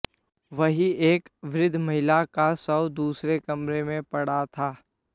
वहीं एक वृद्ध महिला का शव दूसरे कमरे में पड़ा था